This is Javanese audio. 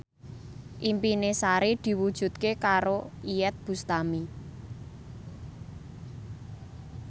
impine Sari diwujudke karo Iyeth Bustami